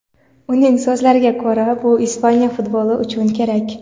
Uning so‘zlariga ko‘ra, bu Ispaniya futboli uchun kerak.